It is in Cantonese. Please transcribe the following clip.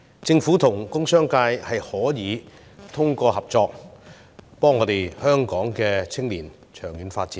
政府和工商界可以通過合作，幫助籌謀香港青年的長遠發展。